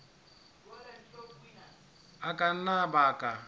a ka nna a baka